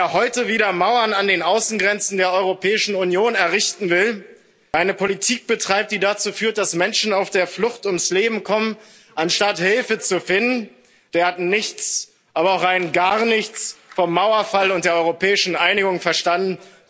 Wer heute wieder Mauern an den Außengrenzen der Europäischen Union errichten will, wer eine Politik betreibt, die dazu führt, dass Menschen auf der Flucht ums Leben kommen, anstatt Hilfe zu finden, der hat nichts, aber auch rein gar nichts vom Mauerfall und der europäischen Einigung verstanden.